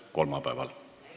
Istungi lõpp kell 17.09.